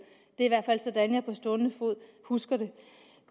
det er i hvert fald sådan jeg på stående fod husker det